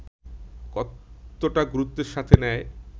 কতটা গুরুত্বের সাথে নেয়